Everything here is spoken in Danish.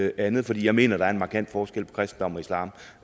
andet for jeg mener der er en markant forskel på kristendom og islam